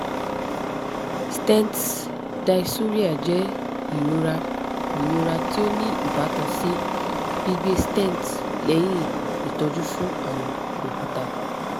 stent dysuria jẹ irora irora ti o ni ibatan si gbigbe stent lẹhin itọju fun arun okuta